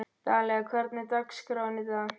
Dalía, hvernig er dagskráin í dag?